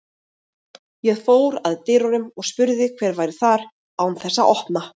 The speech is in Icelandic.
Ég fór að dyrunum og spurði hver væri þar, án þess að opna.